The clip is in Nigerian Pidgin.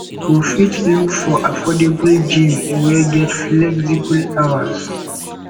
you fit look for affordable gym wey get flexible hours